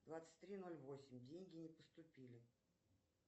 двадцать три ноль восемь деньги не поступили